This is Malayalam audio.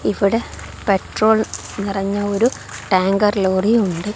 ഇവിടെ പെട്രോൾ നിറഞ്ഞ ഒരു ടാങ്കർ ലോറി ഉണ്ട്.